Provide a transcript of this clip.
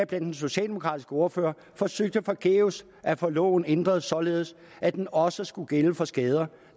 den socialdemokratiske ordfører forsøgte forgæves at få loven ændret således at den også skulle gælde for skader